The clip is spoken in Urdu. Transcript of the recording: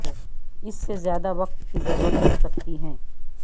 اس سے زیادہ وقت کی ضرورت ہو سکتی ہے